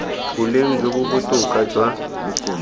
boleng jo bo botoka jwa